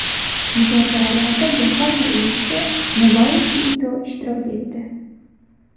Muzokaralarda Yaponiya elchisi Nobuaki Ito ishtirok etdi.